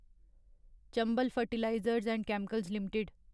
Chambal fertilisers and chemicals limited